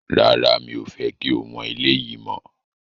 Rárá, mi ò fẹ́ kí o wọn eléyìí mọ́